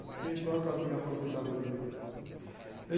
E fiquei só com a minha aposentadoria.